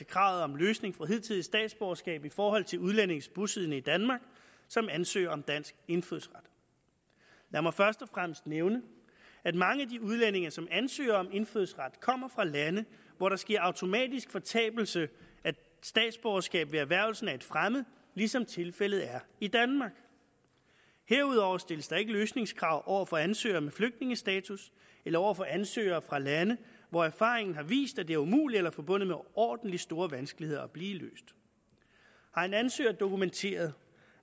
kravet om løsning fra hidtidigt statsborgerskab i forhold til udlændinge bosiddende i danmark som ansøger om dansk indfødsret lad mig først og fremmest nævne at mange af de udlændinge som ansøger om indfødsret kommer fra lande hvor der sker automatisk fortabelse af statsborgerskabet ved erhvervelsen af et fremmed ligesom tilfældet er i danmark herudover stilles der ikke løsningskrav over for ansøgere med flygtningestatus eller over for ansøgere fra lande hvor erfaringen har vist at det er umuligt eller forbundet med overordentlig store vanskeligheder at blive løst har en ansøger dokumenteret